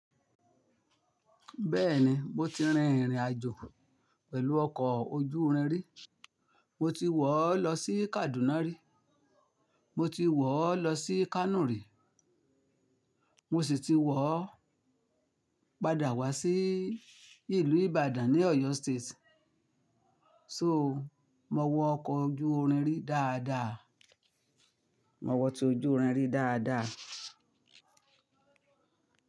Bẹ́ẹ̀ni, mo ti rin ìrìnàjò pẹ̀lú ọkọ̀ ojú irin rí, mo ti wọ̀ ọ́ lọ sí Kaduna rí, mo ti wọ̀ ọ́ lọ sí Kano rí, mo sì ti wọ̀ ọ́ padà wá sí ìlú Ìbàdàn ní Oyo State. So, mo wọ ọkọ̀ ojú irin rí dáadáa, mo wọ tí ojú irin rí dáadáa.